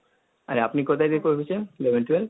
আর আপনি কোথায় থেকে করেছেন? Eleven twelve,